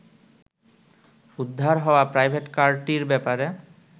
উদ্ধার হওয়া প্রাইভেটকারটির ব্যাপারে